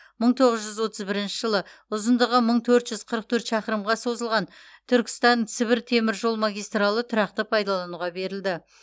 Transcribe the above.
мың тоғыз жүз отыз бірінші жылы ұзындығы мың төрт жүз қырық төрт шақырымға созылған түркістан сібір темір жол магистралы тұрақты пайдалануға берілді